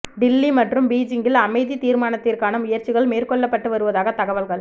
டில்லி மற்றும் பீஜிங்கில் அமைதி தீர்மானத்திற்கான முயற்சிகள் மேற்கொள்ளப்பட்டு வருவதாக தகவல்கள்